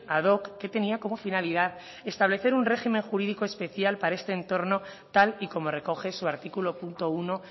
ad hoc que tenía como finalidad establecer un régimen jurídico especial para este entorno tal y como recoge su artículo punto uno